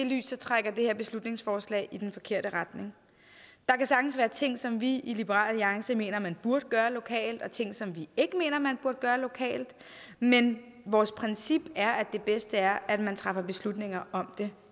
lys trækker det her beslutningsforslag i den forkerte retning der kan sagtens være ting som vi i liberal alliance mener at man burde gøre lokalt og ting som vi ikke mener at man burde gøre lokalt men vores princip er at det bedste er at man træffer beslutninger om det